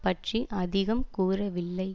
பற்றி அதிகம் கூறவில்லை